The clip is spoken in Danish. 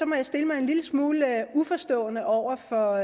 må jeg stille mig en lille smule uforstående over for